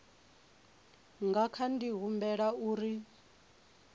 nga kha di humbela uri